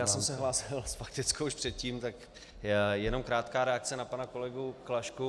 Já jsem se hlásil s faktickou už předtím, tak jenom krátká reakce na pana kolegu Klašku.